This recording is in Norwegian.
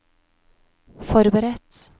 forberedt